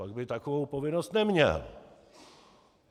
Pak by takovou povinnost neměl.